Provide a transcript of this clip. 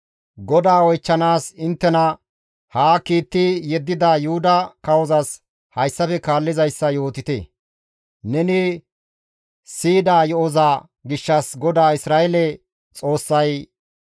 GODAA oychchanaas inttena haa kiitti yeddida Yuhuda kawozas hayssafe kaallizayssa yootite; ‹Neni siyida yo7oza gishshas GODAA Isra7eele Xoossay,